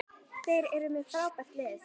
Þeir eru með frábært lið.